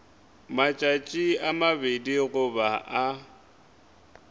matšatši a mabedi goba a